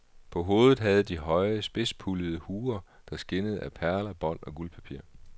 På hovedet havde de høje, spidspuldede huer, der skinnede af perler, bånd og guldpapir.